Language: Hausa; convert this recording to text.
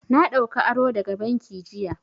Na ɗauka aro daga banki jiya.